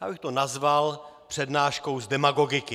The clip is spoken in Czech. Já bych to nazval přednáškou z demagogiky.